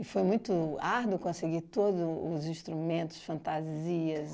E foi muito árduo conseguir todo os instrumentos, fantasias?